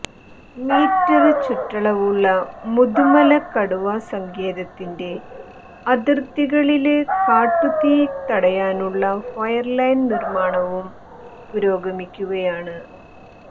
metre ചുറ്റളവുള്ള മുതുമല കടുവാ സങ്കേതത്തിന്റെ അതിര്ത്തികളില് കാട്ടുതീ തടയാനുള്ള ഫയര് ലൈന് നിര്മാണവും പുരോഗമിക്കുകയാണ്